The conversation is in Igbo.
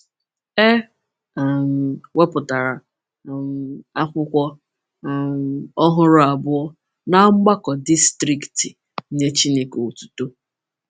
E um wepụtara um akwụkwọ um ọhụrụ abụọ na Mgbakọ Distrikti “Nye Chineke Otuto.”